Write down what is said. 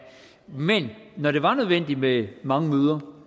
men når det var nødvendigt med mange møder